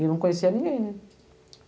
E não conhecia ningué, né.